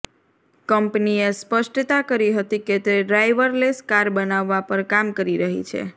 કંપનીએ સ્પષ્ટતા કરી હતી કે તે ડ્રાઇવરલેસ કાર બનાવવા પર કામ કરી રહી છે